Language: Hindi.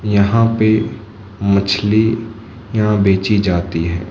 यहां पे मछली यहां बेची जाती है।